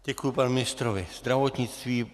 Děkuji panu ministrovi zdravotnictví.